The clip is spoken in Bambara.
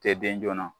Tɛ den joona